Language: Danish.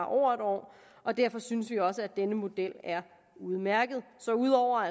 over en år og derfor synes vi også at denne model er udmærket så ud over